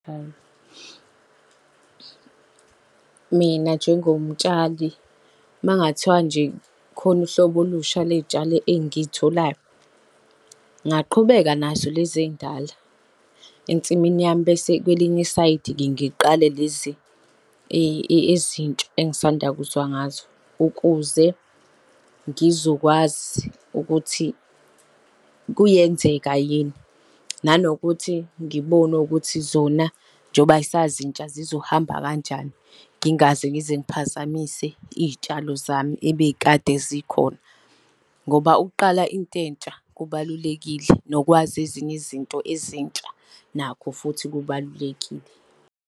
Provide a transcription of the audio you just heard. Mina njengomtshali, makungathiwa nje khona uhlobo olusha ley'tshala engitholayo, ngingaqhubeka nazo lezi ey'ndala. Ensimini yami bese kwelinye isayidi ngiqale lezi ezintsha engisanda kuzwa ngazo, ukuze ngizokwazi ukuthi kuyenzeka yini, nanokuthi ngibone ukuthi zona njengoba zisazintsha zizohamba kanjani, ngingaze ngize ngiphazamise iy'tshalo zami ebekade zikhona. Ngoba ukuqala into entsha kubalulekile, nokwazisa ezinye izinto ezintsha nakho futhi kubalulekile.